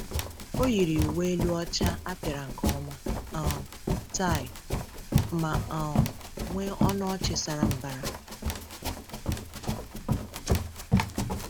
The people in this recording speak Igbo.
O yiri uwe elu ọcha a pịara nke ọma, um taị, ma um nwee ọnụ ọchị sara mbara.